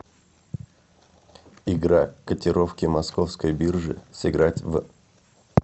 игра котировки московской биржи сыграть в